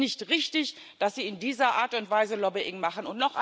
Es ist nicht richtig, dass Sie in dieser Art und Weise Lobbying machen.